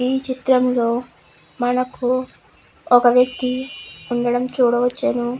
ఈ చిత్రంలో మనకు ఒక వ్యక్తి ఉండడం చూడవచ్చాను.